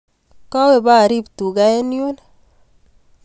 Kawe paarip tuga eng' yun